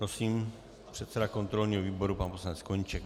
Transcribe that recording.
Prosím, předseda kontrolního výboru pan poslanec Koníček.